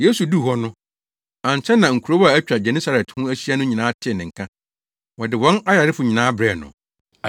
Yesu duu hɔ no, ankyɛ na nkurow a atwa Genesaret ho ahyia no nyinaa tee ne nka. Wɔde wɔn ayarefo nyinaa brɛɛ no.